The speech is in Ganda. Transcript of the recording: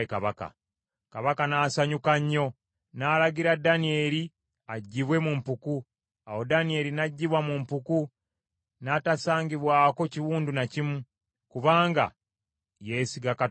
Kabaka n’asanyuka nnyo n’alagira Danyeri aggyibwe mu mpuku. Awo Danyeri n’aggyibwa mu mpuku, n’atasangibwako kiwundu na kimu, kubanga yeesiga Katonda we.